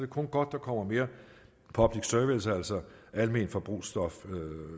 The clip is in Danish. kun godt der kommer mere public service altså alment forbrugsstof